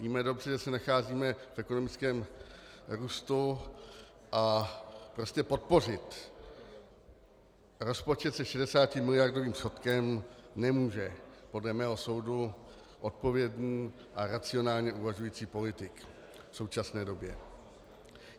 Víme dobře, že se nacházíme v ekonomickém růstu, a prostě podpořit rozpočet se 60miliardovým schodkem nemůže podle mého soudu odpovědný a racionálně uvažující politik v současné době.